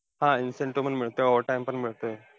हा! incentive मिळतोय, overtime पण मिळतोय.